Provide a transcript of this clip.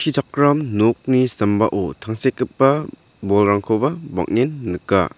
nokni sambao tangsekgipa bolrangkoba bang·en nika.